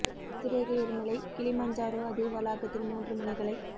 அட்சரேகை எரிமலை கிளிமஞ்சாரோ அதே வளாகத்தில் மூன்று முனைகளை